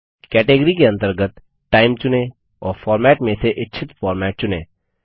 category के अंतर्गत time चुनें और फॉर्मेट में से इच्छित फॉर्मेट चुनें